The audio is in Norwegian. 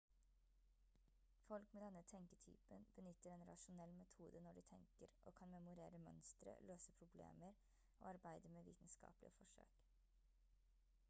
folk med denne tenketypen benytter en rasjonell metode når de tenker og kan memorere mønstre løse problemer og arbeide med vitenskapelige forsøk